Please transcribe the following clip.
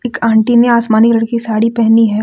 एक आंटी ने आसमानी रंग की साड़ी पहनी है।